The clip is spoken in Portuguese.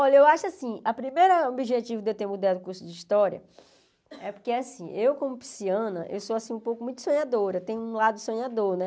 Olha, eu acho assim, o primeiro objetivo de eu ter mudado o curso de história é porque assim, eu como pisciana, eu sou assim um pouco muito sonhadora, tem um lado sonhador, né?